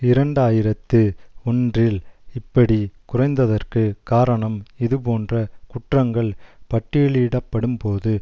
இரண்டு ஆயிரத்து ஒன்றில் இப்படி குறைந்ததற்கு காரணம் இதுபோன்ற குற்றங்கள் பட்டியலிடப்படும்போது